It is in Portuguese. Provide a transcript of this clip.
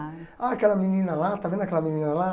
Ah, aquela menina lá, está vendo aquela menina lá?